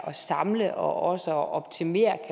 samle og og optimere